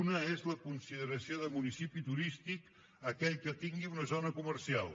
una és la consideració de municipi turístic a aquell que tingui una zona comercial